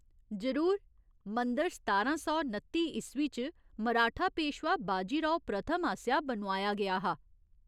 जरूर, मंदर सतारां सौ नत्ती ईस्वी च मराठा पेशवा बाजी राव प्रथम आसेआ बनोआया गेआ हा।